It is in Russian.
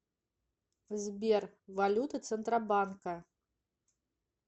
сбер валюты центробанка